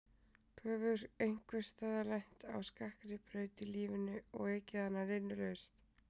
Þú hefur einhvers staðar lent á skakkri braut í lífinu og ekið hana linnulaust.